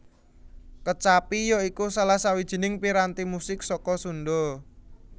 Kecapi ya iku salah sawijining piranti musik saka Sunda